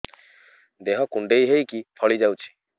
ଦେହ କୁଣ୍ଡେଇ ହେଇକି ଫଳି ଯାଉଛି